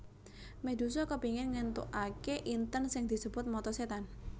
Medusa kepingin ngentukake inten sing disebut mata setan